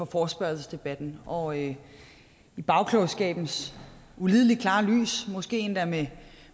forespørgselsdebatten og i bagklogskabens ulideligt klare lys måske endda